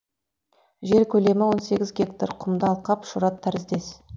жер көлемі он сегіз гектар құмды алқап шұрат тәріздес